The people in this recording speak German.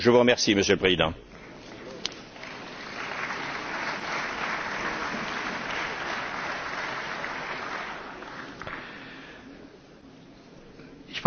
Ich weise darauf hin, meine sehr geehrten Kolleginnen und Kollegen, dass kein einziger Ihrer Punkte irgendetwas mit der Tagesordnung zu tun hatte, so gerechtfertigt Ihre Punkte auch sein mögen.